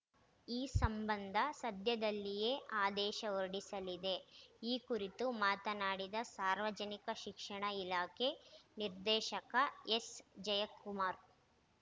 ಈ ಸಂಬಂಧ ಸದ್ಯದಲ್ಲಿಯೇ ಆದೇಶ ಹೊರಡಿಸಲಿದೆ ಈ ಕುರಿತು ಮಾತನಾಡಿದ ಸಾರ್ವಜನಿಕ ಶಿಕ್ಷಣ ಇಲಾಖೆ ನಿರ್ದೇಶಕ ಎಸ್‌ ಜಯಕುಮಾರ್‌